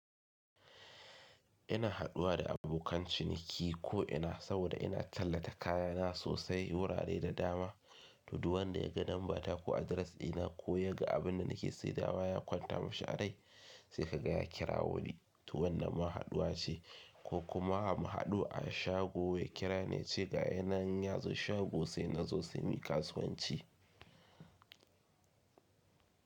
Ina haduwa da abokan ciniki ko ina saboda ina tallata kaya na sosai wurare da dama, to duk wanda ya ga lambata ko address ɗina ko ya ga abin da nake saidawa ya kwanta mishi arai sai ka ga ya kirawo ni, to wannan ma haɗuwa ce ko kuma muhaɗu a shago ya kira niyace ga ya nan yazo shago se na zo se miyi kasuwanci.